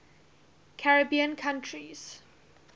caribbean countries